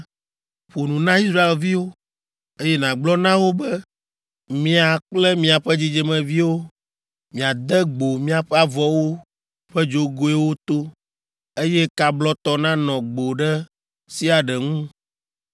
“Ƒo nu na Israelviwo, eye nàgblɔ na wo be, ‘Mia kple miaƒe dzidzimeviwo miade gbo miaƒe avɔwo ƒe dzogoewo to, eye ka blɔtɔ nanɔ gbo ɖe sia ɖe ŋu.